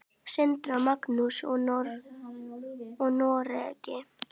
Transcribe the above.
Sindri og Magnús í Noregi.